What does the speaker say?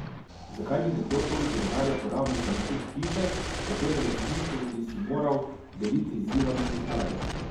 Zakaj bi nekdo toliko denarja porabil za nakup hiše, katere lastništvo bi si moral deliti z Ivanom Zidarjem?